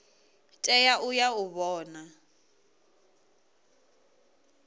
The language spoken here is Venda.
tea u ya u vhona